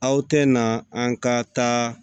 Aw tɛ na an ka taa